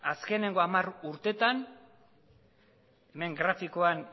azkeneko hamar urtetan hemen grafikoan